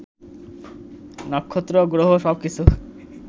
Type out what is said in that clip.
নক্ষত্র, গ্রহ সবকিছু